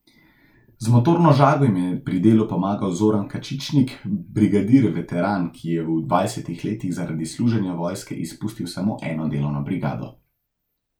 Z motorno žago jim je pri delu pomagal Zoran Kačičnik, brigadir veteran, ki je v dvajsetih letih zaradi služenja vojske izpustil samo eno delovno brigado.